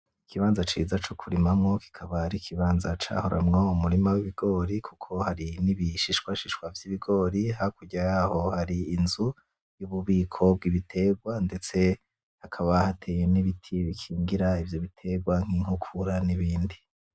Ikibanza ciza c'ukurimamwo, kikaba ari ikibanza cahoramwo umurima w'ibigori kuko hari n'ibishishwashishwa vy'ibigori, hakurya yaho hari inzu y'ububiko bw'ibiterwa, ndetse hakaba hatewe n'ibiti bikingira ivyo biterwa nk'inkukura n'ibindi.